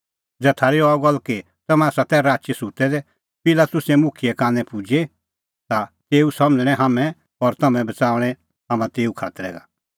ज़ै थारी अह गल्ल कि तम्हैं तै राची सुत्तै दै पिलातुस मुखिये कानै पुजे ता तेऊ समझ़ाऊंमै हाम्हैं और तम्हैं बच़ाऊंणै हाम्हां तेऊ खातरै का